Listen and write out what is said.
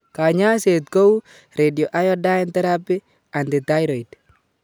Kanyaiset kou : radioiodine therapy, antithyroid